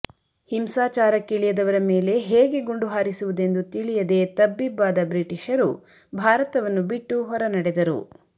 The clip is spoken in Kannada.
ಹಿಂಸಾಚಾರಕ್ಕಿಳಿಯದವರ ಮೇಲೆ ಹೇಗೆ ಗುಂಡು ಹಾರಿಸುವುದೆಂದು ತಿಳಿಯದೆ ತಬ್ಬಿಬ್ಬಾದ ಬ್ರಿಟಿಷರು ಭಾರತವನ್ನು ಬಿಟ್ಟು ಹೊರನಡೆದರು